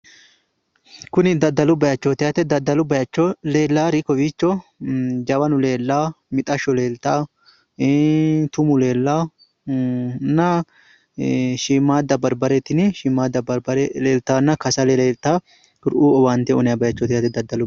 Kuni daddalu bayichooti yaate. Daddalu bayicho leellayuri kowiicho jawanu leellawo mixashsho leeltawo tumu leellawo nna shiimmaadda barbare tini shiimmaadda barbare leeltawonna kasale leeltawo kuriuu owaante uwinayi bayichooti yaate daddalu.